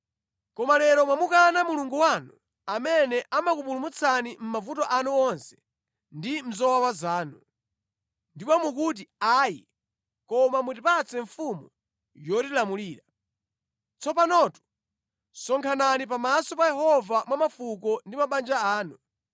Koma lero mwamukana Mulungu wanu amene amakupulumutsani mʼmavuto anu onse ndi mʼzowawa zanu. Ndipo mukuti, ‘Ayi, koma mutipatse mfumu yotilamulira.’ Tsopanotu sonkhanani pamaso pa Yehova mwa mafuko ndi mabanja anu.”